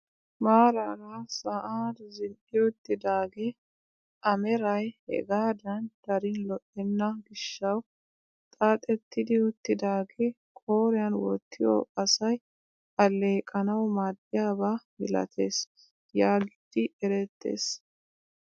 Maarara sa'aan zin"i uttidagee a meray hegaadan darin lo"enna giishshawu xaaxettidi uttidagee qooriyaan wottiyoo asay alleeqanawu maaddiyaaba milatees yaagidi erettees.